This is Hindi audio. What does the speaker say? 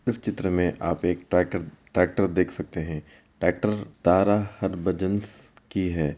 इस चित्र में आप देख सकते हैं। ट्रॅकर ट्रैक्टर देख सकते हैं। ट्रैक्टर तारा हरबजंस की है।